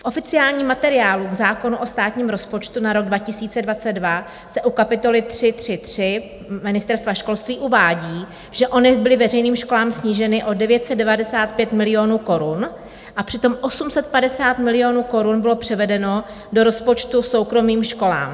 V oficiálním materiálu k zákonu o státním rozpočtu na rok 2022 se u kapitoly 3.3.3 Ministerstva školství uvádí, že ONIV byly veřejným školám sníženy o 995 milionů korun, a přitom 850 milionů korun bylo převedeno do rozpočtu soukromým školám.